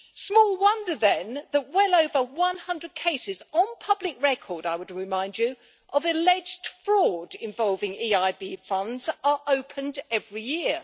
Small wonder then, that well over 100 cases, on public record I would remind you, of alleged fraud involving EIB funds are opened every year.